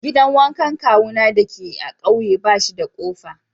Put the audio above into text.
Gidan wankan kawuna dake a'ƙauye bashi da kofa.